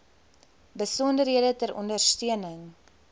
besonderhede ter ondersteuning